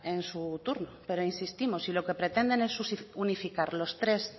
en su turno pero insistimos si lo que pretenden es unificar los tres